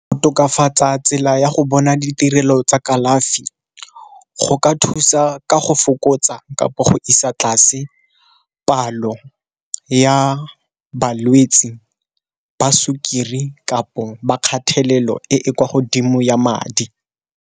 Go tokafatsa tsela ya go bona ditirelo tsa kalafi, go ka thusa ka go fokotsa kampo go isa tlase palo ya balwetsi ba sukiri kapo ba kgathelelo e e kwa godimo ya madi.